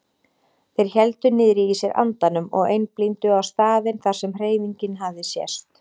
Þeir héldu niðri í sér andanum og einblíndu á staðinn þar sem hreyfingin hafði sést.